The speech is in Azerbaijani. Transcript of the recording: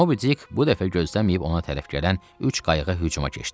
MobiDick bu dəfə gözləməyib ona tərəf gələn üç qayıqa hücuma keçdi.